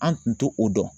An tun tɛ o dɔn